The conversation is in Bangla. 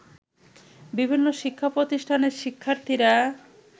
বিভিন্ন শিক্ষা প্রতিষ্ঠানের শিক্ষার্থীরা